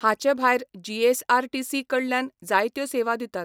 हाचे भायर जीएसआरटीसी कडल्यान जायत्यो सेवा दितात.